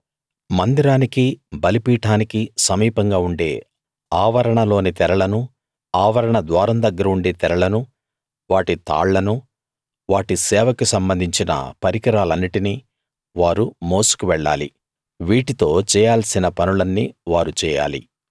మందిరానికీ బలిపీఠానికీ సమీపంగా ఉండే ఆవరణలోని తెరలను ఆవరణ ద్వారం దగ్గర ఉండే తెరలను వాటి తాళ్లనూ వాటి సేవకి సంబంధించిన పరికరాలన్నిటినీ వారు మోసుకు వెళ్ళాలి వీటితో చేయాల్సిన పనులన్నీ వారు చేయాలి